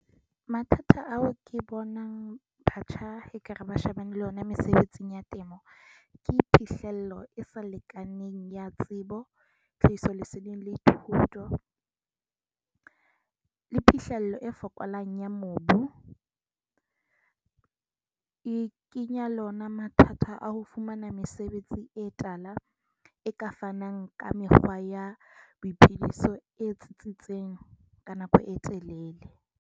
Mathata ao ke bonang ekare ba shebane le yona mesebetsing ya temo. Ke phihlello e se lekaneng ya tsebo, tlhahiso, leseding le thuto le phihlello e fokolang ya mobu e kenya le ona mathata a ho fumana mesebetsi e tala e ka fanang ka mekgwa ya boiphediso e tsitsitseng ka nako e telele.